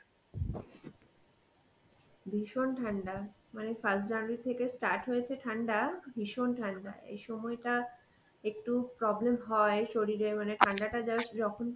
ভীষণ ঠান্ডা. মানে first January থেকে start হয়েছে ঠান্ডা, ভীষণ ঠান্ডা, এই সময়টা একটু problem হয় শরীরে মানে ঠান্ডাটা just যখন